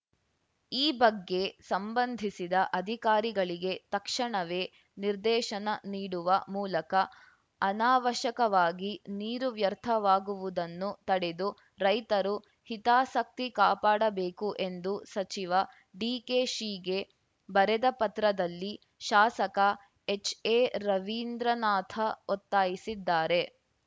ಈ ಬಗ್ಗೆ ಸಂಬಂಧಿಸಿದ ಅಧಿಕಾರಿಗಳಿಗೆ ತಕ್ಷಣವೇ ನಿರ್ದೇಶನ ನೀಡುವ ಮೂಲಕ ಅನಾವಶ್ಯಕವಾಗಿ ನೀರು ವ್ಯರ್ಥವಾಗುವುದನ್ನು ತಡೆದು ರೈತರು ಹಿತಾಸಕ್ತಿ ಕಾಪಾಡಬೇಕು ಎಂದು ಸಚಿವ ಡಿಕೆಶಿಗೆ ಬರೆದ ಪತ್ರದಲ್ಲಿ ಶಾಸಕ ಎಚ್ಎರವೀಂದ್ರನಾಥ ಒತ್ತಾಯಿಸಿದ್ದಾರೆ